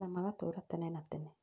Na magatũũra tene na tene